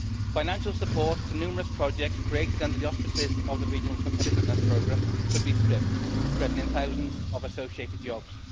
Financial support to numerous projects created under the auspices of the Regional Competitiveness Programme could be stripped, threatening thousands of associated jobs.